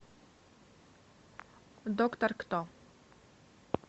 доктор кто